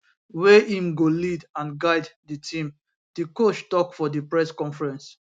wey im go lead and guide di team di coach tok for di press conference